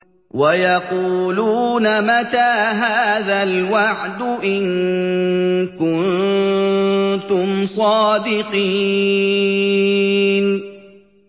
وَيَقُولُونَ مَتَىٰ هَٰذَا الْوَعْدُ إِن كُنتُمْ صَادِقِينَ